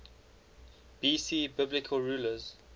bc biblical rulers